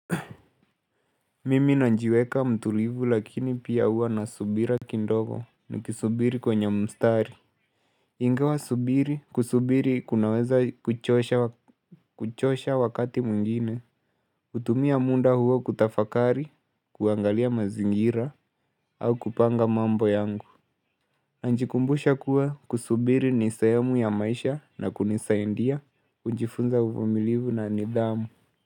Mimi najiweka mtulivu lakini pia hua nasubira kidogo nikisubiri kwenye mstari Ingawa subiri kusubiri kunaweza kuchosha wakati mwingine hutumia muda huo kutafakari, kuangalia mazingira au kupanga mambo yangu Najikumbusha kuwa kusubiri ni sehemu ya maisha na kunisaidia hujifunza uvumilivu na nidhamu.